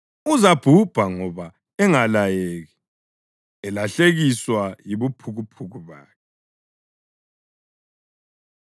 Uzabhubha ngoba engalayeki, elahlekiswa yibuphukuphuku bakhe.